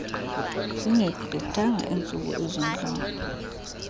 zingegqithanga iintsuku ezintlanu